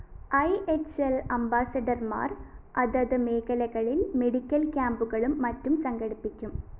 IHL‍ അംബാസഡര്‍മാര്‍ അതത് മേഖലകളില്‍ മെഡിക്കൽ ക്യാമ്പുകളും മറ്റും സംഘടിപ്പിക്കും